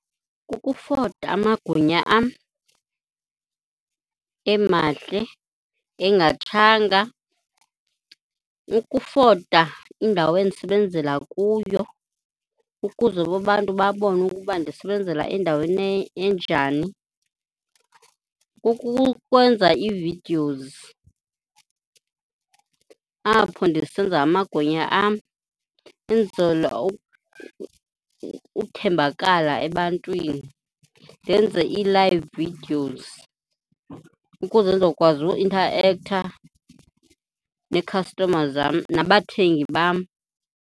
Ukufota amagwinya am, emahle, engatshatanga. Ukufota indawo endisebenzela kuyo ukuze babantu babone ukuba ndisebenzela endaweni enjani. Kukukwenza ii-videos apho ndisenza amagwinya am ukwenzela ukuthembakala ebantwini. Ndenze ii-live videos ukuze ndizokwazi uinthaektha neekhastoma zam, nabathengi bam.